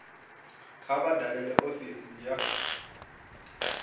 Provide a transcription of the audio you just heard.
kha vha dalele ofisi ya